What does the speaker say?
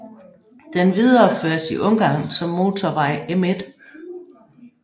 Den videreføres i Ungarn som motorvej M1